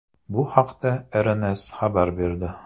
Bu haqda RNS xabar berdi .